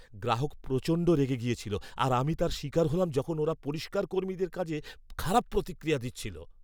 গ্রাহক প্রচণ্ড রেগে গেছিল আর আমি তার শিকার হলাম যখন ওরা পরিষ্কার কর্মীদের কাজে খারাপ প্রতিক্রিয়া দিচ্ছিল।